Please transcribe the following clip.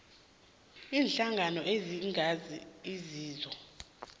iinhlangano ezingenzi inzuzo